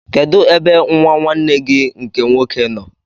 Kedụ ebe nwa nwanne gị nke nwoke nọ?